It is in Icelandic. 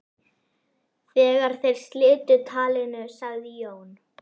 Þegar þeir slitu talinu sagði Jón